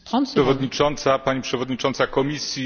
Pani Przewodnicząca! Pani Przewodnicząca Komisji!